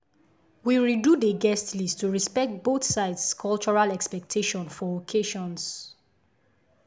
we redo dey guest list to respect both sides cultural expectation for occasions.